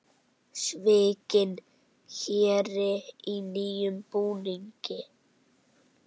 Svikinn héri í nýjum búningi